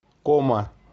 кома